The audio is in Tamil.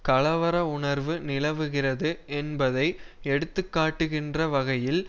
கலவர உணர்வு நிலவுகிறது என்பதை எடுத்துக்காட்டுகின்ற வகையில்